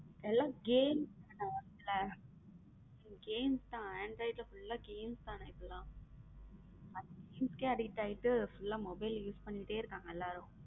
எல்லாம் games நான் உள்ள games தான் android full game தான kids addict ஆயிட்டு mobile use பண்ணிக்கிட்டே இருக்காங்க எல்லாரும்